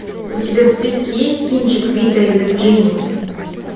у тебя в списке есть кинчик вита и вирджиния